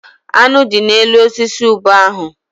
Aṅụ dị n'elu osisi ube ahụ.